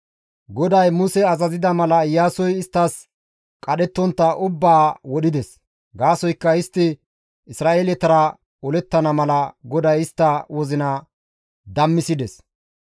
GODAY Muse azazida mala Iyaasoy isttas qadhettontta ubbaa wodhides. Gaasoykka istti Isra7eeletara olettana mala GODAY istta wozina dammisides.